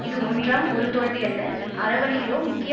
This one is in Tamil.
இது ஒன்றாம் ஒரு தோல்வி அல்ல அறவழியிலோ முக்கிய